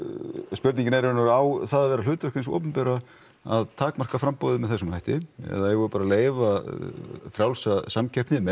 spurningin er í raun og veru á það að vera hlutverk hins opinbera að takmarka framboðið með þessum hætti eða eigum við bara leyfa frjálsa samkeppni með